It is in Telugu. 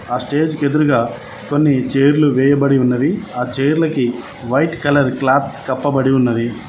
ఆ స్టేజ్ కి ఎదురుగ కొన్ని చైర్లు వేయబడి ఉన్నవి ఆ చైర్లకి వైట్ కలర్ క్లాత్ కప్పబడి ఉన్నది.